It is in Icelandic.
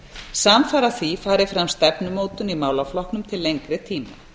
samfara því fari fram stefnumótun í málaflokknum til lengri tíma